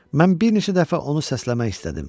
Mən bir neçə dəfə onu səsləmək istədim.